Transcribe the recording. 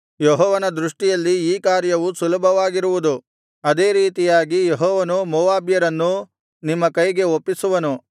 ಯೆಹೋವನ ದೃಷ್ಟಿಯಲ್ಲಿ ಈ ಕಾರ್ಯವೂ ಸುಲಭವಾಗಿರುವುದು ಅದೇ ರೀತಿಯಾಗಿ ಯೆಹೋವನು ಮೋವಾಬ್ಯರನ್ನೂ ನಿಮ್ಮ ಕೈಗೆ ಒಪ್ಪಿಸುವನು